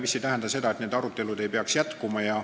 See ei tähenda aga seda, et arutelud ei peaks jätkuma.